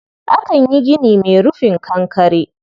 Akan yi gini mai rufin kankare.